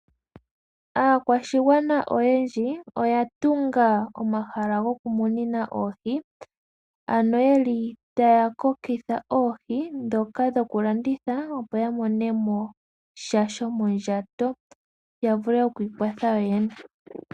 Aakwashigwana oyendji oya tunga omahala gokumunina oohi, ano yeli taakokitha oohi ndhoka dhoku landitha opo yamonemo sha shomondjato yavule okwiikwatha yo yene.